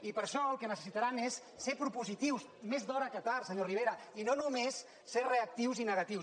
i per a això el que necessitaran és ser propositius més d’hora que tard senyor rivera i no només ser reactius i negatius